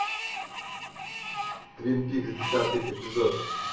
твин пикс десятый эпизод